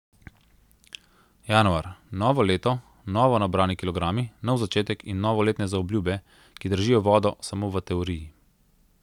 Januar, novo leto, novo nabrani kilogrami, nov začetek in novoletne zaobljube, ki držijo vodo samo v teoriji.